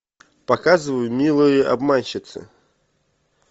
показывай милые обманщицы